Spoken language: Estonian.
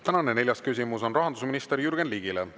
Tänane neljas küsimus on rahandusminister Jürgen Ligile.